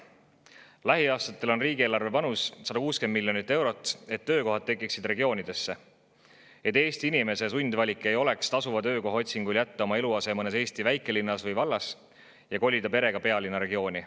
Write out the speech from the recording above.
Lähiaastatel on riigieelarve panus 160 miljonit eurot, selleks et regioonidesse töökohad tekiksid ja Eesti inimese sundvalik ei oleks tasuva töökoha otsingul jätta oma eluase mõnes Eesti väikelinnas või vallas ja kolida perega pealinna regiooni.